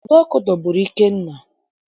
Ụdọ ọkụ dọgburu Ikenna